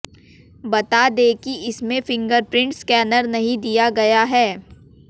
बता दें कि इसमें फिंगरप्रिंट स्कैनर नहीं दिया गया है